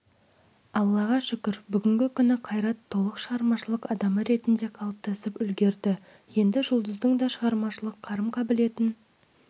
аллаға шүкір бүгінгі күні қайрат толық шығармашылық адамы ретінде қалыптасып үлгерді енді жұлдыздың да шығармашылық қарым-қабілетін